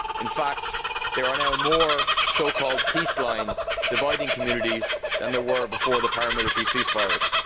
In fact, there are now more so called peace lines dividing communities than there were before the paramilitary ceasefires.